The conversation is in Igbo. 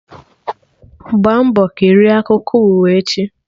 Gbaa mbọ kirie akụkọ ụwa echi!